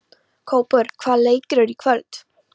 Kópur, hvaða leikir eru í kvöld?